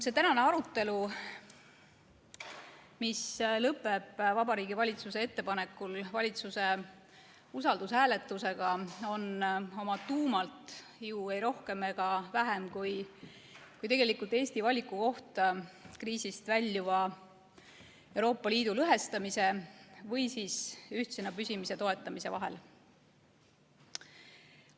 See tänane arutelu, mis lõpeb Vabariigi Valitsuse ettepanekul valitsuse usaldushääletusega, on tegelikult oma tuumalt ei rohkem ega vähem kui Eesti valikukoht kriisist väljuva Euroopa Liidu lõhestamise või ühtsena püsimise toetamise vahel.